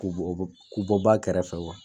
K'u bɔ bɔ k'u bɔ ba kɛrɛfɛ